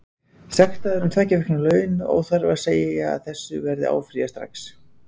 Sektaður um tveggja vikna laun, óþarfi að segja að þessu verður áfrýjað strax.